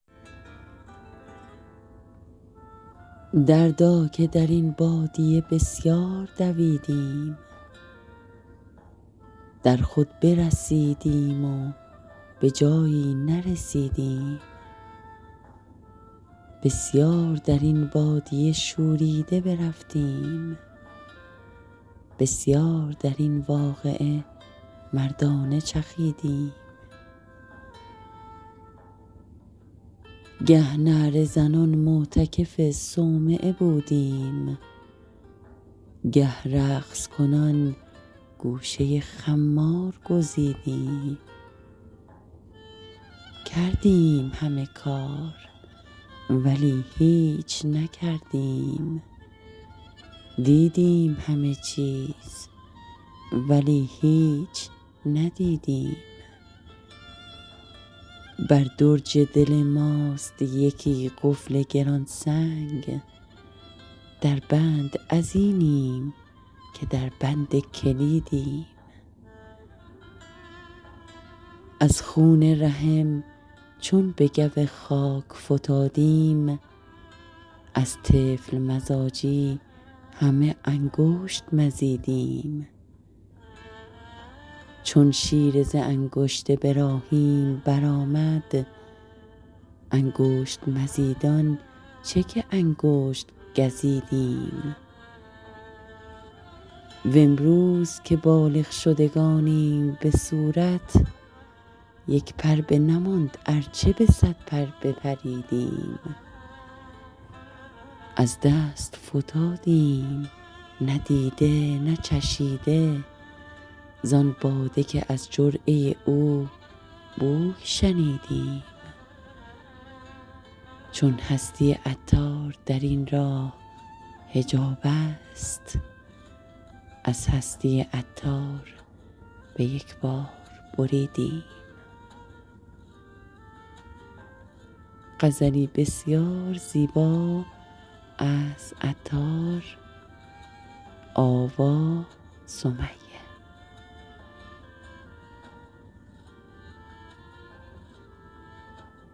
دردا که درین بادیه بسیار دویدیم در خود برسیدیم و بجایی نرسیدیم بسیار درین بادیه شوریده برفتیم بسیار درین واقعه مردانه چخیدیم گه نعره زنان معتکف صومعه بودیم گه رقص کنان گوشه خمار گزیدیم کردیم همه کار ولی هیچ نکردیم دیدیم همه چیز ولی هیچ ندیدیم بر درج دل ماست یکی قفل گران سنگ در بند ازینیم که در بند کلیدیم از خون رحم چون به گو خاک فتادیم از طفل مزاجی همه انگشت مزیدیم چون شیر ز انگشت براهیم برآمد انگشت مزیدان چه که انگشت گزیدیم وامروز که بالغ شدگانیم به صورت یک پر بنماند ارچه به صد پر بپریدیم از دست فتادیم نه دیده نه چشیده زان باده که از جرعه او بوی شنیدیم چون هستی عطار درین راه حجاب است از هستی عطار به یکبار بریدیم